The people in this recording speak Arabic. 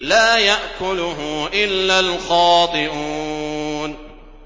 لَّا يَأْكُلُهُ إِلَّا الْخَاطِئُونَ